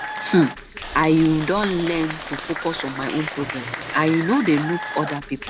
um i um don learn to focus on my own progress i um no dey look oda pipo